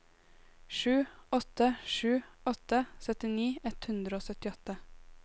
sju åtte sju åtte syttini ett hundre og syttiåtte